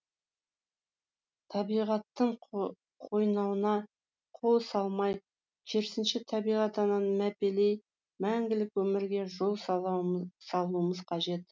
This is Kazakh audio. табиғаттың қойнауына қол салмай керісінше табиғат ананы мәпелей мәңгілік өмірге жол салуымыз қажет